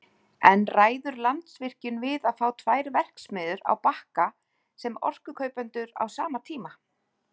En ræður Landsvirkjun við að fá tvær verksmiðjur á Bakka sem orkukaupendur á sama tíma?